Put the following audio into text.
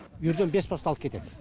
үйірден бес басты алып кетеді